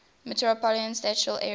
metropolitan statistical area